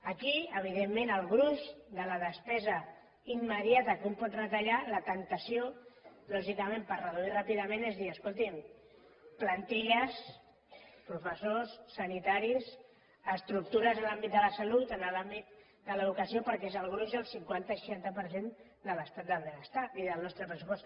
aquí evidentment el gruix de la despesa immediata que un pot retallar la temptació lògicament per reduir ràpidament és dir escoltin plantilles professors sanitaris estructures en l’àmbit de la salut en l’àmbit de l’educació perquè és el gruix el cinquanta seixanta per cent de l’estat del benestar i del nostre pressupost